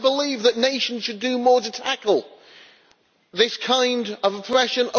Do I believe that nations should do more to tackle this kind of oppression?